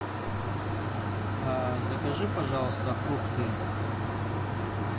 закажи пожалуйста фрукты